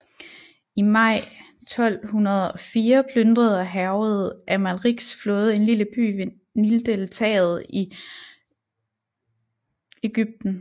I maj 1204 plyndrede og hærgede Amalriks flåde en lille by ved Nildeltaet i Egypten